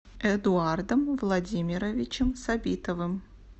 эдуардом владимировичем сабитовым